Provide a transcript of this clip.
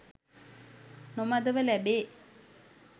නොමදව ලැබේ.